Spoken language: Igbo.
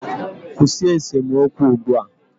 Kwụsị esemokwu ugbu a!